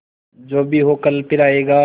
जो भी हो कल फिर आएगा